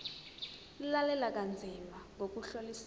lalela kanzima ngokuhlolisisa